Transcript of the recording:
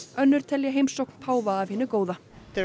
önnur telja heimsókn páfa af hinu góða